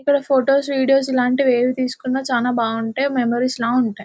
ఇక్కడ photos videos ఏవి తీసుకున్న చాలా బాగుంటాయి మెమోరీస్ లా ఉంటాయి .